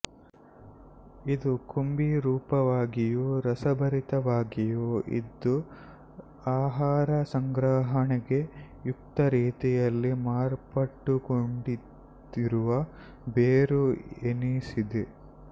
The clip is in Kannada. ಇದು ಕುಂಭೀ ರೂಪವಾಗಿಯೂ ರಸಭರಿತವಾಗಿಯೂ ಇದ್ದು ಆಹಾರ ಸಂಗ್ರಹಣೆಗೆ ಯುಕ್ತರೀತಿಯಲ್ಲಿ ಮಾರ್ಪಾಟುಗೊಂಡಿರುವ ಬೇರು ಎನಿಸಿದೆ